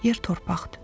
Yer torpaqdır.